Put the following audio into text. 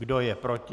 Kdo je proti?